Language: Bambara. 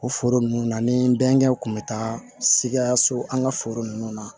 O foro ninnu na ni bɛnkanw kun bɛ taa sikaso an ka foro ninnu na